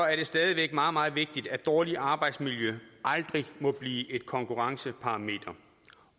er det stadig væk meget meget vigtigt at dårligt arbejdsmiljø aldrig må blive et konkurrenceparameter